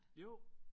Jo